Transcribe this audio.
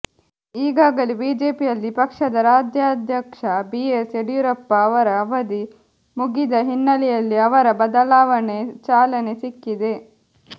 ಈಗಾಗಲೇ ಬಿಜೆಪಿಯಲ್ಲಿ ಪಕ್ಷದ ರಾಜ್ಯಾಧ್ಯಕ್ಷ ಬಿ ಎಸ್ ಯಡಿಯೂರಪ್ಪ ಅವರ ಅವಧಿ ಮುಗಿದ ಹಿನ್ನೆಲೆಯಲ್ಲಿ ಅವರ ಬದಲಾವಣೆಗೆ ಚಾಲನೆ ಸಿಕ್ಕಿದೆ